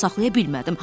Özümü saxlaya bilmədim.